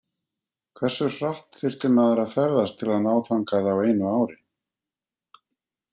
Hversu hratt þyrfti maður að ferðast til að ná þangað á einu ári?.